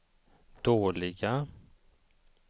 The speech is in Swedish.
dåliga